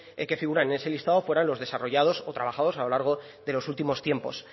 que figuran en ese listado fueran los desarrollados o trabajados a lo largo de los últimos tiempos